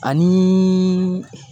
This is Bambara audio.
Ani